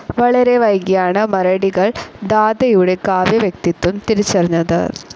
വളരെ വൈകിയാണ് മരടികൾ ധാതയുടെ കാവ്യ വ്യക്തിത്വം തിരിച്ചറിഞ്ഞത്.